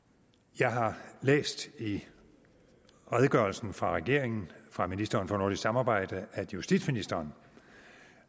jeg har læst i redegørelsen fra regeringen fra ministeren for nordisk samarbejde at justitsministeren